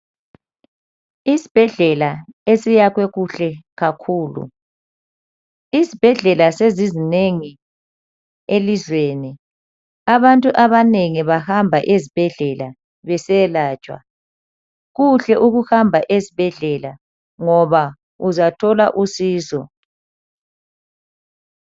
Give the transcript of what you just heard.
Isibhedlela esiyakhwe kuhle kakhulu, isibhedlela sezizinengi elizweni. Abantu abanengi bahamba ezibhedlela besiyelatshwa. Kuhle ukuhamba ezibhedlela ngoba uzathola usizo.